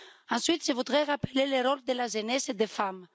Ensuite, je voudrais rappeler le rôle de la jeunesse et des femmes.